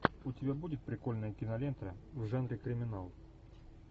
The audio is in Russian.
у тебя будет прикольная кинолента в жанре криминал